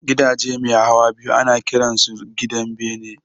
Gidaje mai hawa biyu ana kiran su gidan bene